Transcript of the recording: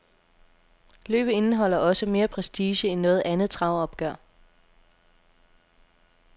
Løbet indeholder også mere prestige end noget andet travopgør.